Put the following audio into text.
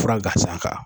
Fura gansan kan